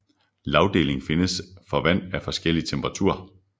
Lagdeling findes for vand af forskellig temperatur